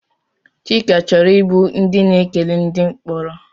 Chika chọrọ ịbụ ndị na-ekele ndị mkporo?